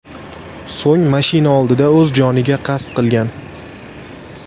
So‘ng mashina oldida o‘z joniga qasd qilgan.